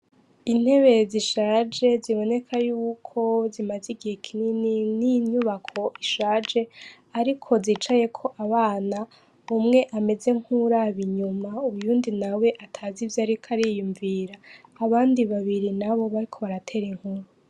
Intebe zishaje ziboneka yuko zimaze igihe kinini n'inyubako isahaje ariko zicayeko abana umwe ameze nkuwuraba inyuma uwundi nawe atazi ivyo ariko ariyumvira, abandi babiri nabo bariko baratera inkuru.